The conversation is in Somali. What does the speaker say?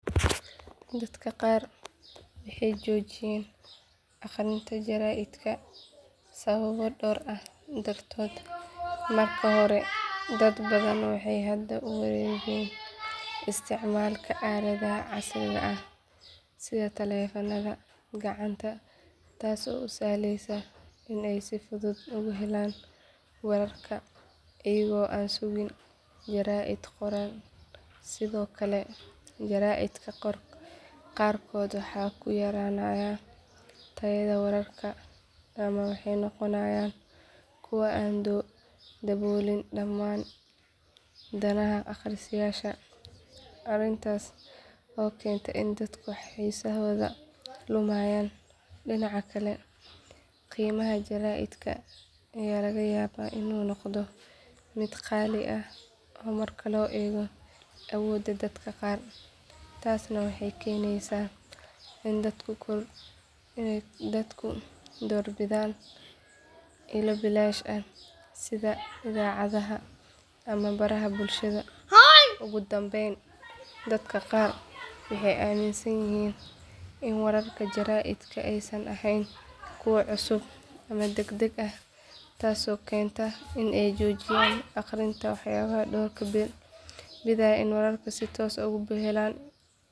Dadka qaar waxay joojiyeen akhrinta jaraa'idka sababo dhowr ah dartood marka hore dad badan waxay hadda u wareegeen isticmaalka aaladaha casriga ah sida taleefannada gacanta taasoo u sahlaysa in ay si fudud uga helaan wararka iyagoo aan sugin jaraa'id qoran sidoo kale jaraa'idka qaarkood waxaa ku yaraanaya tayada wararka ama waxay noqonayaan kuwo aan daboolin dhammaan danaha akhristayaasha arrintaas oo keenta in dadku xiisahooda lumiyaan dhinaca kale qiimaha jaraa'idka ayaa laga yaabaa inuu noqdo mid qaali ah marka loo eego awoodda dadka qaar taasna waxay keenaysaa in dadku doorbidaan ilo bilaash ah sida idaacadaha ama baraha bulshada ugu dambayn dadka qaar waxay aaminsan yihiin in wararka jaraa'idka aysan ahayn kuwo cusub ama degdeg ah taasoo keenta in ay joojiyaan akhrinta waxayna door bidaan in ay wararka si toos ah uga helaan ilo kale.